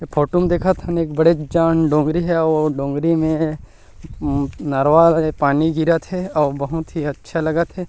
Photo म देखत हन एक बड़ेक जान डोंगरी हे आऊ ओ डोंगरी में नरवा ले पानी गिरत हे अउ बहुत ही अच्छा लगत हे।